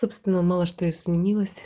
собственно мало что изменилось